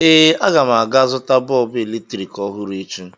Ee, aga m aga zụta bọọbụ eletrik ọhụrụ echi.